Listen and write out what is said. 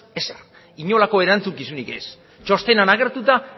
ezer inolako erantzukizunik ez txostenean agertuta